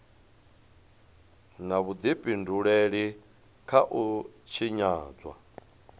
na vhudifhinduleli kha u tshinyadzwa